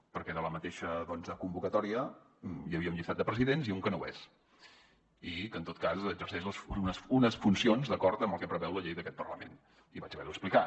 perquè en la mateixa convocatòria hi havia un llistat de presidents i un que no ho és i que en tot cas exerceix unes funcions d’acord amb el que preveu la llei d’aquest parlament i vaig haver ho d’explicar